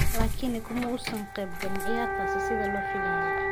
Laakiin kuma uusan ka qaybgalin ciyaartaas sida la filayay.